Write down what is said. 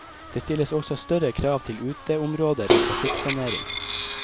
Det stilles også større krav til uteområder og trafikksanering.